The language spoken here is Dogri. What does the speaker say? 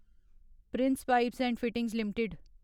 Prince Pipes and Fittings limited